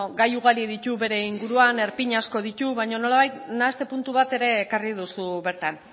gai ugari ditu bere inguruan erpin asko ditu baina nolabait nahaste puntu bat ere ekarri duzu bertan